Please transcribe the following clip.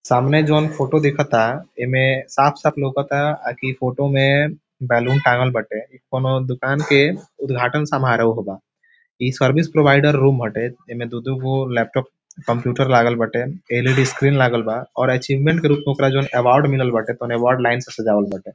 सामने जोन फोटो देख ता एमे साफ-साफ लउकत ता अ कि फोटो में बैलून टांगल बाटे ई कउनो दुकान के उद्घाटन समोराह बा ई सर्विस प्रोवाइडर रूम हटे एमे दू-दू लैपटॉप कंप्यूटर लागल बाटे एल.इ.डी. स्क्रीन लागल बा और अचीवमेंट के रूप में ओकरा जोन अवार्ड मिलल बाटे उ अवार्ड लाइन से सजावल बाटे।